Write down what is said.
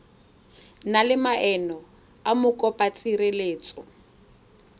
na le maemo a mokopatshireletso